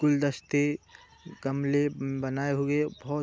गुलदस्ते गमले बनाए हुए बोत --